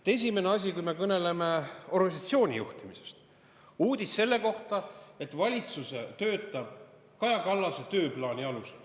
Esimene asi, kui me kõneleme organisatsiooni juhtimisest: uudis selle kohta, et valitsus töötab Kaja Kallase tööplaani alusel.